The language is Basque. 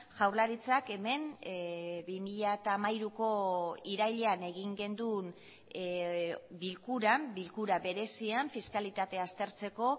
jaurlaritzak hemen bi mila hamairuko irailean egin genuen bilkuran bilkura berezian fiskalitatea aztertzeko